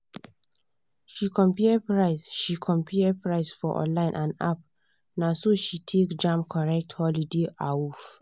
she compare price she compare price for online and app naso she take jam correct holiday awoof.